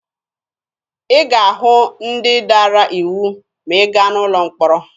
Ị ga-ahụ ndị dara iwu ma ị gaa n'ụlọ mkpọrọ.